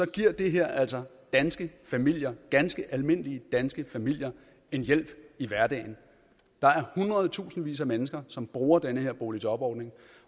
giver det her altså danske familier ganske almindelige danske familier en hjælp i hverdagen der er hundredetusindvis af mennesker som bruger den her boligjobordning